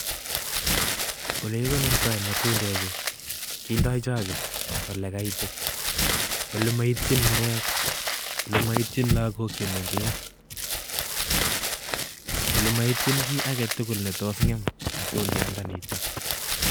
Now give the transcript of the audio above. Olekikonortoi matundechu kindo choke olekaitit, olemoityin murek, olemoityin lokok chemeng'ech, olemoityin kii aketukul netos ngem matundiandaniton.